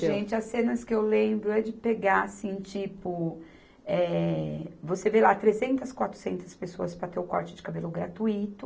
Gente, as cenas que eu lembro é de pegar, assim, tipo, eh, você vê lá trezentas, quatrocentas pessoas para ter o corte de cabelo gratuito.